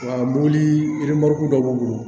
Mobili dɔ b'u bolo